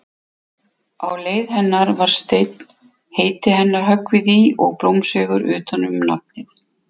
Á leiði hennar var steinn, heiti hennar höggvið í og blómsveigur utan um nafnið.